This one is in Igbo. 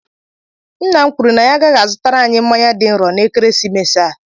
Nna m kwuru na ya agaghị azụtara anyị mmanya dị nrò n'ekeresimesi a